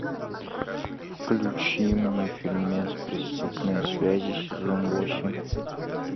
включи мне фильмец преступные связи сезон восемь